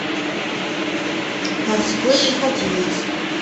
морской пехотинец